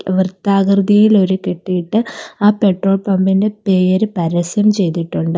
വൃത്താകൃതിയിൽ ഒരു കെട്ടിയിട്ട് ആ പെട്രോൾ പമ്പിന്റെ പേര് പരസ്യം ചെയ്തിട്ടുണ്ട്.